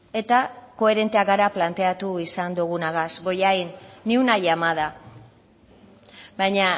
eta koherenteak gara planteatu izan dogunagaz bollain ni una llamada baina